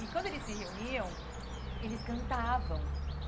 E quando eles se reuniam, eles cantavam.